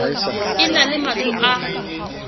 e na le matlo a